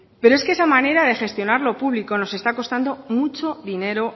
pero es que esa manera de gestionar lo público nos está costando mucho dinero